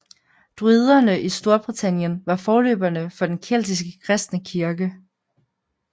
Druiderne i Storbritannien var forløberne for den keltiske kristne kirke